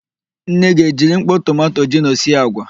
Nne gị e jiri mkpọ tomanto gino sie àgwà?